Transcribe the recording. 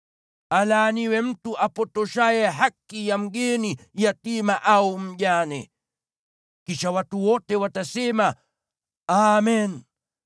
“Alaaniwe mtu apotoshaye haki ya mgeni, yatima au mjane.” Kisha watu wote watasema, “Amen!”